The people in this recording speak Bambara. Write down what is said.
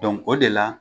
o de la